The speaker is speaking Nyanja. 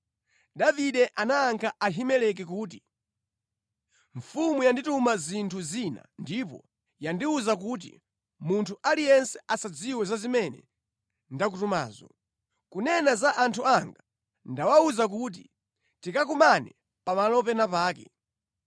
Davide anayankha Ahimeleki kuti, “Mfumu yandituma zinthu zina ndipo yandiwuza kuti, ‘Munthu aliyense asadziwe za zimene ndakutumazo.’ Kunena za anthu anga, ndawawuza kuti tikakumane pamalo pena pake.